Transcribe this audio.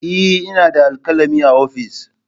Eh ina da alkalami a ofis.